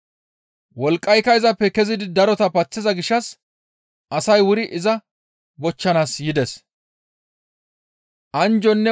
Wolqqayka izappe kezidi darota paththiza gishshas asay wuri iza bochchanaas yides.